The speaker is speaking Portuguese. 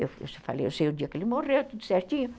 Eu falei, eu sei o dia que ele morreu, tudo certinho.